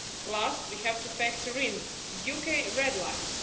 Last, we have to factor in the UK red lines.